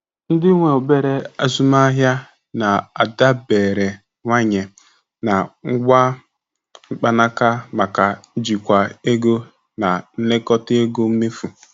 Ndị nwe obere azụmaahịa na-adaberewanye na ngwa mkpanaka maka njikwa ego na nlekota ego mmefu.